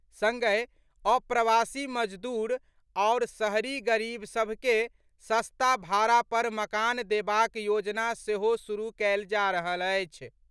संगहि, अप्रवासी मजदूर आओर शहरी गरीब सभ के सस्ता भाड़ा पर मकान देबाक योजना सेहो शुरू कयल जा रहल अछि।